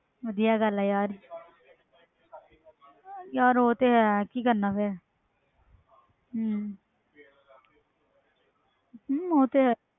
ਵਧੀਆ ਗੱਲ ਹੈ ਯਾਰ ਯਾਰ ਉਹ ਤੇ ਹੈ ਕੀ ਕਰਨਾ ਫਿਰ ਹਮ ਹਮ ਉਹ ਤੇ ਹੈ।